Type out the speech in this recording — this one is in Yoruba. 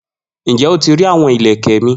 Njẹ o ti ri awọn ilẹkẹ mi?